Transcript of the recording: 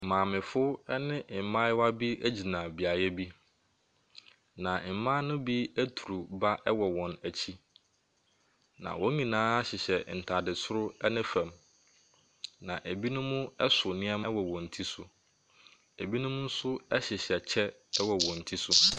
Maamefo ne mmayewa bi gyina beaeɛ bi, na mmaa no bi aturu ba wɔ wɔn akyi, na wɔn nyinaa hyehyɛ ntade soro ne fam, na bi so nneɛma wɔ wɔn ti so. Binom nso hyehyɛ kyɛ wɔ wɔn ti so.